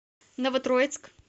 новотроицк